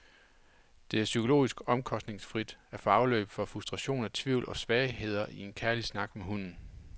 Det er psykologisk omkostningsfrit at få afløb for frustrationer, tvivl og svagheder i en kærlig snak med hunden.